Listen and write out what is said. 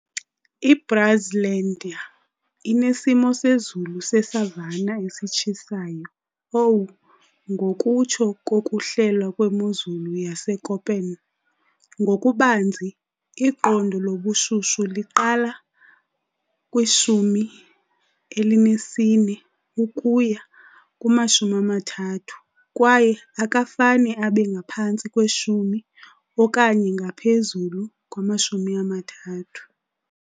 I-Brazlandia inesimo sezulu se-savanna esitshisayo,"Aw", ngokutsho kokuhlelwa kwemozulu yaseKöppen. Ngokubanzi, iqondo lobushushu liqala kwi-14 ukuya kuma-30 kwaye akafane abe ngaphantsi kwe-10 okanye ngaphezulu kwe-30.